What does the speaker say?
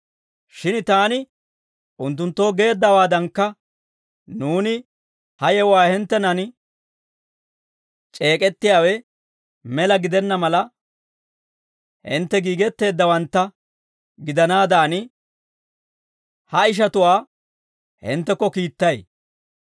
Shin taani unttunttoo geeddawaadankka nuuni ha yewuwaa hinttenan c'eek'ettiyaawe mela gidenna mala, hintte giigetteeddawantta gidanaadan, ha ishatuwaa hinttekko kiittay.